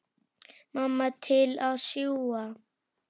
Mamma til að sjúga.